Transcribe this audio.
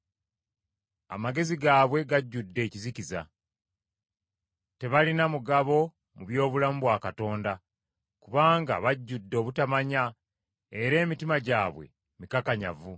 Amagezi gaabwe gajjudde ekizikiza. Tebalina mugabo mu by’obulamu bwa Katonda, kubanga bajjudde obutamanya era emitima gyabwe mikakanyavu.